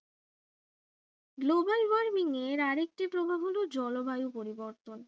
global warming এর আরেকটি হলো জলবায়ু পরিবর্তন